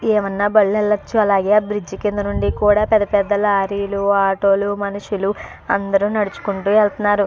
ఏమన్నా బళ్ళు వెళ్లొచ్చు అలాగే ఆ బ్రిడ్జి కింద నుండి కూడా పెద్ద పెద్ద లారీ లు ఆటో లు మనుషులు అందరూ నడుచుకుంటూ వెళ్తున్నారు.